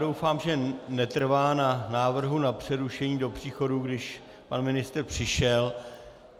Doufám, že netrvá na návrhu na přerušení do příchodu, když pan ministr přišel.